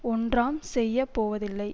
ஒன்றாம் செய்ய போவதில்லை